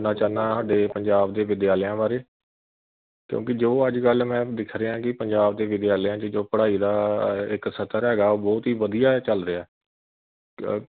ਕਹਿਣਾ ਚਾਹੁੰਦਾ ਹਾਡੇ ਪੰਜਾਬ ਦੇ ਵਿਦਿਆਲਿਆਂ ਬਾਰੇ ਕਿਉਕਿ ਜੋ ਅੱਜ ਕੱਲ ma'am ਦਿਖ ਰਿਹਾ ਕਿ ਪੰਜਾਬ ਦੇ ਵਿਦਿਆਲਯ ਵਿਚ ਜੋ ਪੜਾਈ ਦਾ ਇਕ ਸਤਰ ਹੈਗਾ ਉਹ ਬਹੁਤ ਹੀ ਵਧੀਆ ਚਲ ਰਿਹਾ।